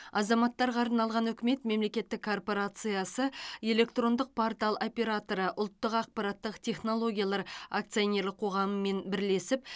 азаматтарға арналған үкімет мемлекеттік корпорациясы электрондық портал операторы ұлттық ақпараттық технологиялар акционерлік қоғамымен бірлесіп